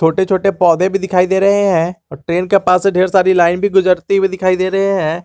छोटे छोटे पौधे भी दिखाई दे रहे हैं और ट्रेन के पास से ढेर सारी लाइन भी गुजरती हुई दिखाई दे रहे हैं।